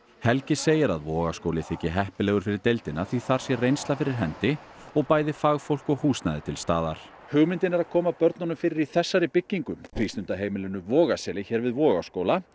helgi segir að Vogaskóli þyki heppilegur fyrir deildina því þar sé reynsla fyrir hendi og bæði fagfólk og húsnæði til staðar hugmyndin er að koma börnunum fyrir í þessari byggingu frístundaheimilinu Vogaseli hér við Vogaskóla